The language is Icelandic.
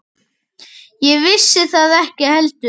Ég vissi það ekki heldur.